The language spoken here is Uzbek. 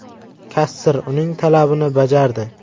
Kassir uning talabini bajardi.